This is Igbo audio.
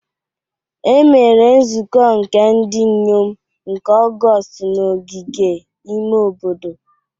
Emere nzukọ nke ndị inyom nke Ọgọọst n'ogige ime obodo.